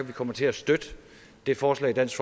vi kommer til at støtte det forslag dansk